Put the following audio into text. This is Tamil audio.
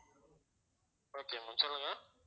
okay ma'am சொல்லுங்க